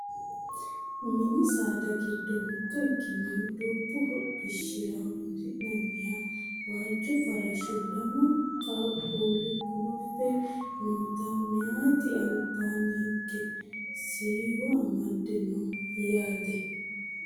Mini saada giddo mitto ikkinoha budu hodhishshira horonsi'nanniha waajjo farashsho lamu qaaqquulli guluffe nootanna mayeeti albaanni higge siiwo amadde no yaate